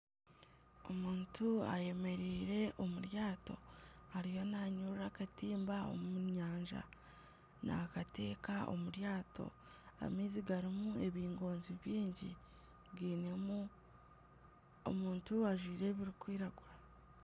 Omuntu ayemereire omu ryato ariyo nanyurura akatimba omu nyanja naakata omu ryato. Amaizi garimu ebingonzi bingi garimu omuntu ajwaire ebirikwiragura.